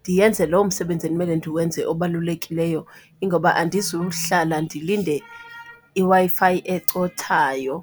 ndiyenze loo msebenzi ekumele ndiwenze obalulekileyo. Ingoba andizuhlala ndilinde iWi-Fi ecothayo.